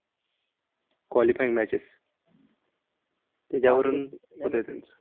qualifying matches यावरून होतंय त्यांचं.